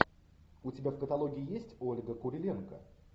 у тебя в каталоге есть ольга куриленко